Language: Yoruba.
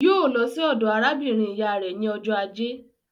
Yóò lọ sí ọ̀dọ̀ arábìnrin ìyá rẹ̀ ní ọjọ́ ajé.